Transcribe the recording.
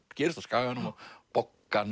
gerist á Skaganum og